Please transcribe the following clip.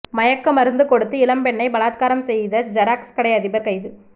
மயக்க மருந்து கொடுத்து இளம்பெண்ணை பலாத்காரம் செய்த ஜெராக்ஸ் கடை அதிபர் கைது